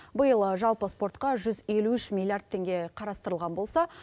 биыл жалпы спортқа жүз елу үш милиард теңге қарастырылған болса